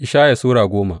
Ishaya Sura goma